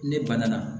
Ne banna